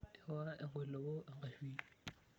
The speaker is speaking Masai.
Ewa enkoilepo enkashui.